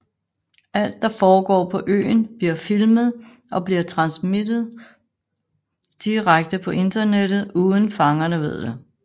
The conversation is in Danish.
Alt der forgår på øen bliver filmet og bliver transmittet direkte på internettet uden fangerne ved det